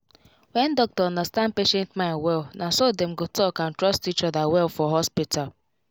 when doctor understand patient mind wellnaso dem go talk and trust each other well for hospital